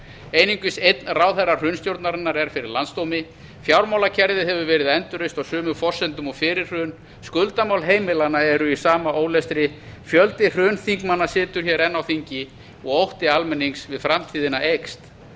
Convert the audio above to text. einungis einn ráðherra hrunstjórnarinnar er fyrir landsdómi fjármálakerfið hefur verið endurreist á sömu forsendum og fyrir hrun skuldamál heimilanna eru í sama ólestri fjöldi hrunþingmanna situr enn á þingi og ótti almennings við framtíðina eykst